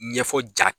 Ɲɛfɔ ja